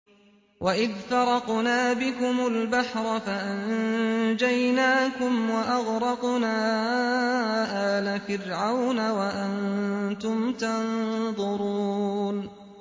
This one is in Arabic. وَإِذْ فَرَقْنَا بِكُمُ الْبَحْرَ فَأَنجَيْنَاكُمْ وَأَغْرَقْنَا آلَ فِرْعَوْنَ وَأَنتُمْ تَنظُرُونَ